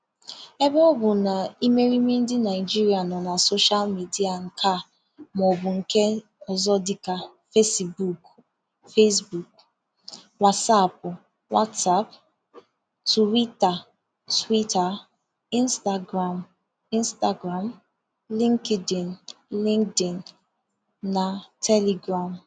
Ebe ọ bụ na ịmerịime ndị Naịjiria nọ na soshal media nke a maọbụ nke ọzọ dịka fesbuuku (facebook), wasaapụ (whatsapp), tuwita (twitter), ịnstagram (instagram), lịnkdịn (linkdin), na telegram